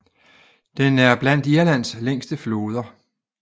Den er blandt Irlands længste floder